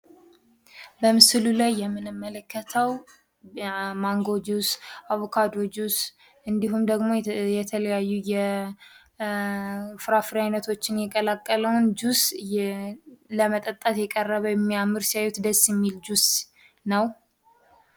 በምስሉ ላይ የምንመለከተው ማንጎ ጁስ፣ አቮካዶ ጁስ እንድሁም ደግሞ የተለያዩ የተለያዩ የፍራፍሬ አይነቶችን የቀላቀለውን ጁስ ለመጠጣት የቀረበ ሲያዩት የሚያምር ፣ደስ የሚል ጁስ ነው።